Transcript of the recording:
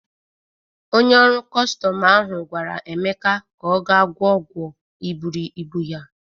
Onye ọrụ kọstọm ahụ gwara Emeka ka ọ ga gwọ ọgwọ iburu ibu ya.